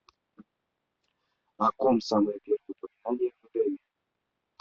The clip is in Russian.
о ком самое первое упоминание в эдеме